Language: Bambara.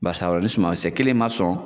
ni sumankisɛ kelen ma sɔn